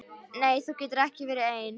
Nei þú getur ekki verið ein.